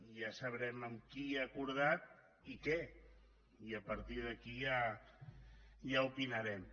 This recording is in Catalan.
ja sabrem amb qui ha acordat i què i a partir d’aquí ja opinarem